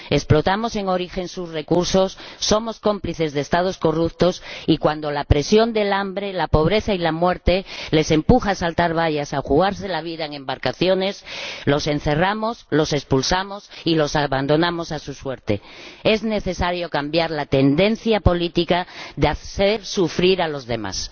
Explotamos en origen sus recursos, somos cómplices de Estados corruptos y cuando la presión del hambre, la pobreza y la muerte les empuja a saltar vallas, a jugarse la vida en embarcaciones, los encerramos, los expulsamos y los abandonamos a su suerte. Es necesario cambiar la tendencia política de hacer sufrir a los demás.